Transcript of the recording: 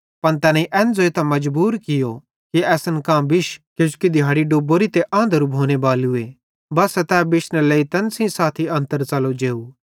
पन तैनेईं एन ज़ोइतां मजबूर कियो कि असन कां बिश किजोकि दिहाड़ी डुबोरीए आंधरू भोने बालूए बस्सा तै बिशनेरे लेइ तैन सेइं साथी अन्तर च़लो जेव